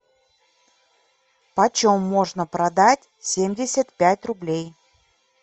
почем можно продать семьдесят пять рублей